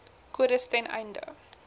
kodes ten einde